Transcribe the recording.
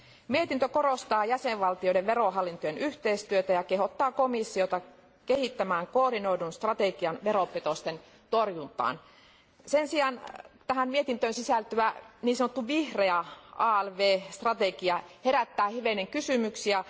Mietintö korostaa jäsenvaltioiden verohallintojen yhteistyötä ja kehottaa komissiota kehittämään koordinoidun strategian veropetosten torjuntaan. Sen sijaan tähän mietintöön sisältyvä niin sanottu vihreä alv strategia herättää hivenen kysymyksiä.